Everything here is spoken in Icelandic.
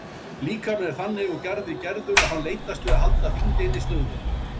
Líkaminn er þannig úr garði gerður að hann leitast við að halda þyngdinni stöðugri.